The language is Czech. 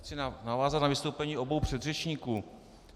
Chci navázat na vystoupení obou předřečníků.